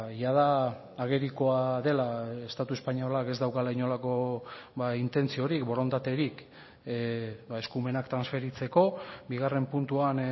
jada agerikoa dela estatu espainolak ez daukala inolako intentziorik borondaterik eskumenak transferitzeko bigarren puntuan